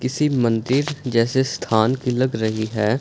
किसी मंदिर जैसे स्थान की लग रही है।